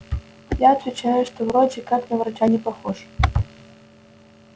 я отвечаю что вроде как на врача не похож